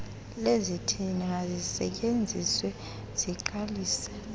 lezithili mazisetyenziswe ziqalise